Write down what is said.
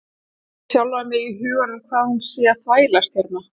Spyr sjálfa sig í huganum hvað hún sé að þvælast hérna.